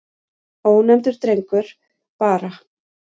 Ónefndur drengur: Bara.